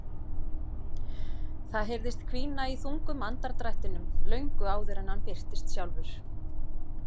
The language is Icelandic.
Það heyrðist hvína í þungum andardrættinum löngu áður en hann birtist sjálfur.